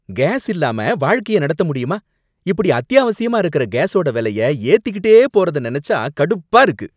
Case இல்லாம வாழ்க்கை நடத்த முடியுமா? இப்படி அத்தியாவசியமா இருக்குற கேசோட வெலைய ஏத்திக்கிட்டே போறத நனைச்சா கடுப்பா இருக்கு.